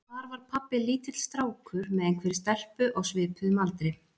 Þar var pabbi lítill strákur með einhverri stelpu á svipuðum aldri.